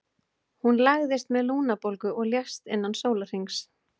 Hún lagðist með lungnabólgu og lést innan sólarhrings.